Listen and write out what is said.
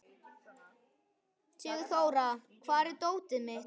Sigurþóra, hvar er dótið mitt?